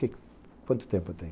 Quanto tempo eu tenho?